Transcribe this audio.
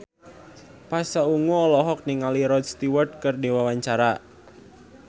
Pasha Ungu olohok ningali Rod Stewart keur diwawancara